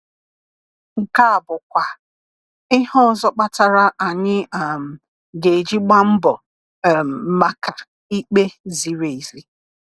Nke a bụkwa ihe ọzọ kpatara anyị um GA-EJI gbaa mbọ um maka ikpe ziri ezi.